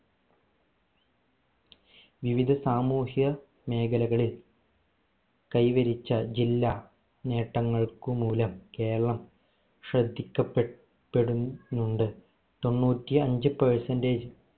വിവിധ സാമൂഹ്യ മേഖലകളിൽ കൈവരിച്ച ജില്ലാ നേട്ടങ്ങൾക്ക് മൂലം കേരളം ശ്രദ്ധിക്കപ്പെടു പ്പെടുന്നുണ്ട് തൊണ്ണൂറ്റി അഞ്ച് percentage